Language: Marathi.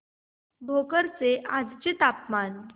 भोकर चे आजचे तापमान